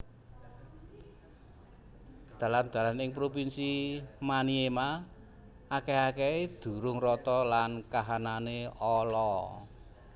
Dalan dalan ing provinsi Maniema akèh akèhé durung rata lan kahanané ala